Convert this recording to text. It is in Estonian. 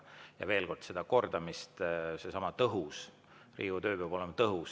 Ja veel kord: mis puutub kordamisse, siis Riigikogu töö peab olema tõhus.